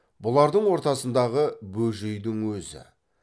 бұлардың ортасындағы бөжейдің өзі